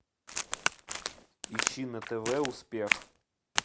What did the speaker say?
ищи на тв успех